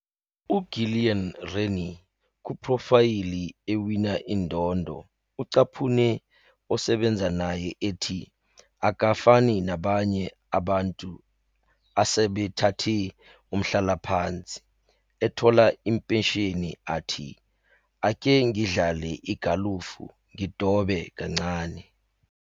UGillian Rennie, kuphrofayli ewina indondo, ucaphune osebenza naye ethi, "Akafani nabanye abantu asebethathe umhlalaphansi, ethola impesheni athi, 'Ake ngidlale igalofu ngidobe kancane.'